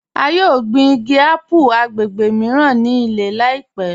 A yọ̀ gbin igi àpù agbègbè míran ni ilẹ̀ láìpẹ̀